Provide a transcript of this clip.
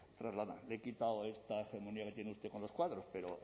trasladan le he quitado esta hegemonía que tiene usted con los cuadros pero